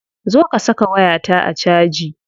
Zo ka saka wayata a caji.